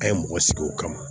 An ye mɔgɔ sigi o kama